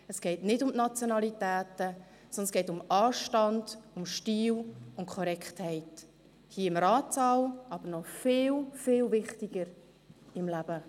Es geht nicht um die Nationalitäten, sondern um Anstand, um Stil und Korrektheit – hier im Ratssaal, aber– noch viel, viel wichtiger – auch im Leben.